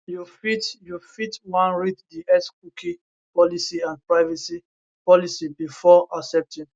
you fit you fit wan read di xcookie policyandprivacy policybefore accepting